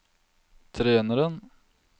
treneren